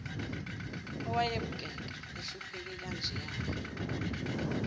owayebukeka ehlupheke kanjeya